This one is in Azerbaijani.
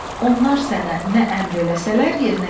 Onlar sənə nə əmr eləsələr, yerinə yetir.